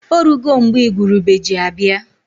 Orugo mgbe igwurube ji abịa.